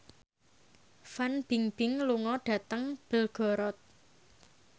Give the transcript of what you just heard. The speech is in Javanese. Fan Bingbing lunga dhateng Belgorod